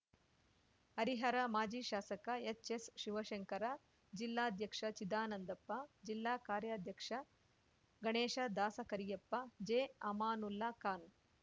ಹರಿಹರ ಮಾಜಿ ಶಾಸಕ ಎಚ್‌ಎಸ್‌ಶಿವಶಂಕರ ಜಿಲ್ಲಾಧ್ಯಕ್ಷ ಚಿದಾನಂದಪ್ಪ ಜಿಲ್ಲಾ ಕಾರ್ಯಾಧ್ಯಕ್ಷ ಗಣೇಶ ದಾಸಕರಿಯಪ್ಪ ಜೆಅಮಾನುಲ್ಲಾ ಖಾನ್‌